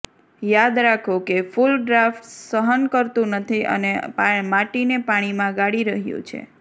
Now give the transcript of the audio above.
યાદ રાખો કે ફૂલ ડ્રાફ્ટ્સ સહન કરતું નથી અને માટીને પાણીમાં ગાળી રહ્યું છે